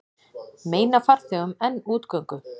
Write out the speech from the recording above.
Meina farþegum enn útgöngu